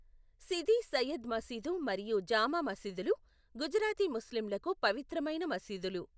సిదీ సయ్యద్ మసీదు మరియు జామా మసీదులు గుజరాతీ ముస్లింలకు పవిత్రమైన మసీదులు.